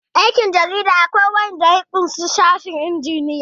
aikin jarida akwai wanda ya ƙushi sashen injiniyan